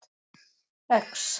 X